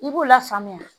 I b'u lafaamuya